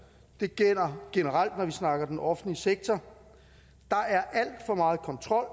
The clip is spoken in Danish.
det gælder generelt når vi snakker den offentlige sektor der er alt for meget kontrol